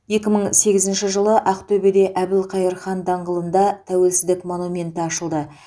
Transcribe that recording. екі мың сегізінші жылы ақтөбеде әбілқайыр хан даңғылында тәуелсіздік монументі ашылды